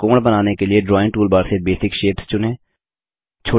एक त्रिकोण बनाने के लिए ड्राइंग टूलबार से बेसिक शेप्स चुनें